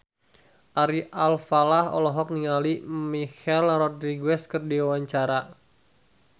Ari Alfalah olohok ningali Michelle Rodriguez keur diwawancara